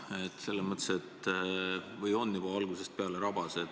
Või õigemini on see juba algusest peale rabas.